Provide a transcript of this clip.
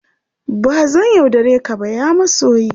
Ba zan yaudare ka ba, ya masoyi!